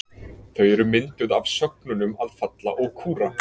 Þau eru mynduð af sögnunum að falla og kúra.